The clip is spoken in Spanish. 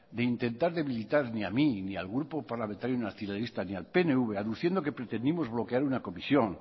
de intentar debilitar ni a mí ni al grupo parlamentario nacionalista ni al pnv aduciendo que pretendimos bloquear una comisión